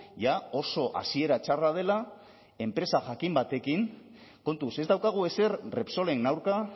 jada oso hasiera txarra dela enpresa jakin batekin kontuz ez daukagu ezer repsolen aurka